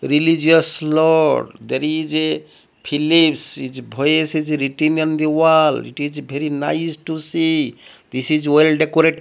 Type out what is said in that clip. religious lord there is a feelings his voice is written on the wall it is very nice to see this is well decorated --